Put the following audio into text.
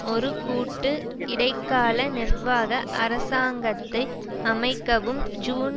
ஒரு கூட்டு இடைக்கால நிர்வாக அரசாங்கத்தை அமைக்கவும் ஜூன்